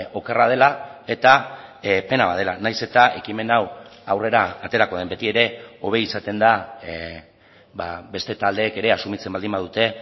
okerra dela eta pena bat dela nahiz eta ekimen hau aurrera aterako den betiere hobe izaten da beste taldeek ere asumitzen baldin badute